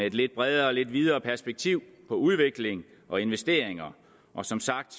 et lidt bredere og lidt videre perspektiv på udvikling og investeringer og som sagt